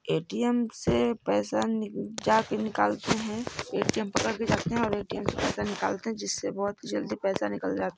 ATM से पैसा नि जा के निकलते हैं ए_टी_एम पकड़ के जाते है ए_टी_एम निकल के जिस से पैसा बहुत जल्दी निकल ज--